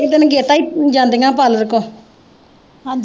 ਇੱਕ ਦਿਨ ਅਗੇਤਾ ਈ ਜਾਂਦੀਆਂ ਪਾਰਲਰ ਕੋ